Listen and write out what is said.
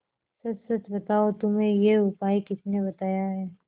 सच सच बताओ तुम्हें यह उपाय किसने बताया है